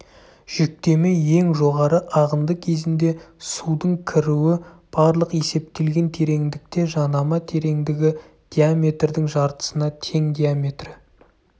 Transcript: жүктеме ең жоғары ағынды кезінде судың кіруі барлық есептелген тереңдікте жанама тереңдігі диаметрдің жартысына тең диаметрі